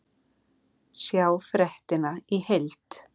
Sjá fréttina í heild